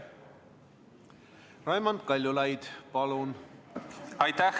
Raimond Kaljulaid, palun!